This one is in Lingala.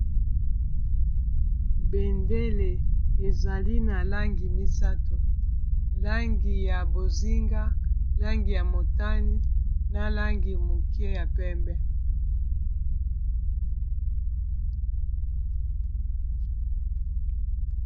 bendele ezali na langi misato langi ya bozinga langi ya motane na langi moke ya pembe